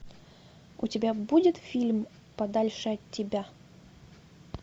у тебя будет фильм подальше от тебя